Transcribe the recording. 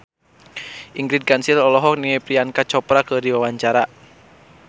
Ingrid Kansil olohok ningali Priyanka Chopra keur diwawancara